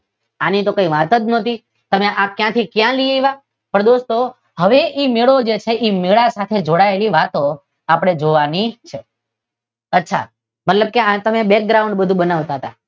આની તો કઈ વાત જ નથી તમે ક્યાથી ક્યાં લઈ આવ્યા? પણ દોસ્તો હવે એ મેળો જે છે એ મેળા સાથે જોડાયેલી વાતો આપડે જોવાની છે. અચ્છા તમે આ બધુ બેકગ્રાઉંડ બધુ બનાવતા હતા.